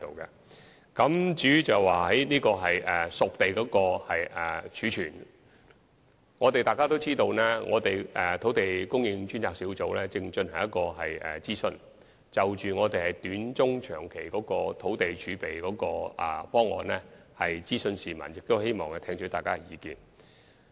至於熟地儲備方面，眾所周知，土地供應專責小組正在進行諮詢，就短、中、長期的土地供應選項諮詢市民，並希望聽取大家的意見。